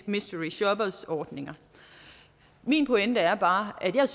mystery shopper ordninger min pointe er bare at jeg